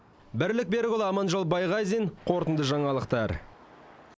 бірлік берікұлы аманжол байғазин қорытынды жаңалықтар